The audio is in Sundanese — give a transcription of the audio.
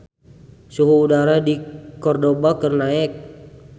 Suhu udara di Cordova keur naek